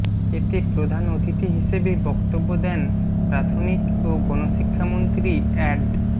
এতে প্রধান অতিথি হিসেবে বক্তব্য দেন প্রাথমিক ও গণশিক্ষামন্ত্রী অ্যাড